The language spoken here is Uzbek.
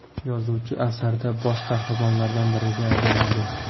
Yozuvchi asarda bosh qahramonlardan biriga aylanadi.